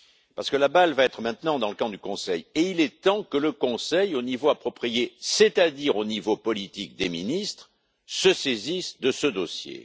parce que la balle va être maintenant dans son camp et il est temps que le Conseil, au niveau approprié, c'est à dire au niveau politique des ministres, se saisisse de ce dossier.